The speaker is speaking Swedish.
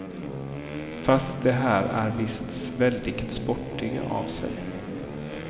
Fast de här är visst väldigt sportiga av sig.